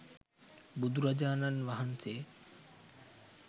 බුදුරජාණන් වහන්සේ